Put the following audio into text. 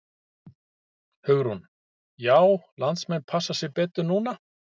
Hugrún: Já landsmenn passa sig betur núna?